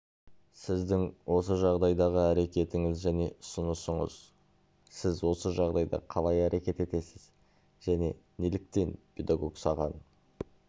сіздің осы жағдайдағы әрекетіңіз және ұсынысыңыз сіз осы жағдайда қалай әрекет етесіз және неліктен педагог саған